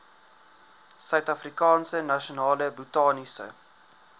suidafrikaanse nasionale botaniese